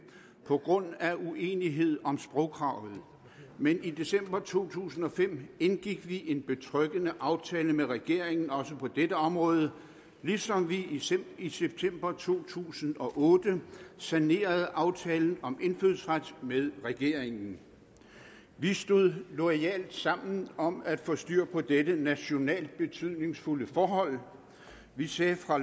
på grund af uenighed om sprogkravet men i december to tusind og fem indgik vi en betryggende aftale med regeringen også på dette område ligesom vi i september to tusind og otte sanerede aftalen om indfødsret med regeringen vi stod loyalt sammen om at få styr på dette nationalt betydningsfulde forhold vi sagde fra